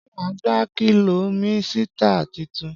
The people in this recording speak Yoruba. Ṣé má gba kólọmísìtí titun?